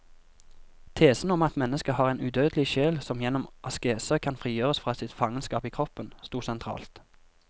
Tesen om at mennesket har en udødelig sjel som gjennom askese kan frigjøres fra sitt fangenskap i kroppen, stod sentralt.